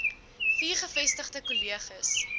vier gevestigde kolleges